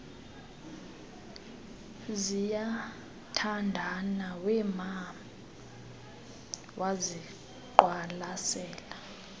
ziyathandana wema waziqwalasela